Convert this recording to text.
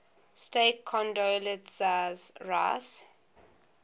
state condoleezza rice